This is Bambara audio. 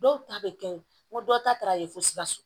Dɔw ta bɛ kɛ yen n ko dɔw ta ye fo sikaso